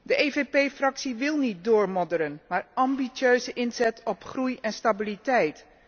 De EVP Fractie wil niet doormodderen, maar ambitieuze inzet op groei en stabiliteit.